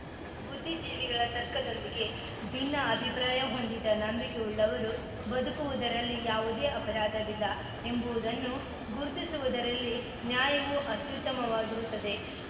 ಬುದ್ಧಿಜೀವಿಗಳ ತರ್ಕದೊಂದಿಗೆ ಭಿನ್ನ ಅಭಿಪ್ರಾಯ ಹೊಂದಿದ ನಂಬಿಕೆಯುಳ್ಳವರು ಬದುಕುವುದರಲ್ಲಿ ಯಾವುದೇ ಅಪರಾಧವಿಲ್ಲ ಎಂಬುವುದನ್ನು ಗುರುತಿಸುವುದರಲ್ಲಿ ನ್ಯಾಯವು ಅತ್ಯುತ್ತಮವಾಗಿರುತ್ತದೆ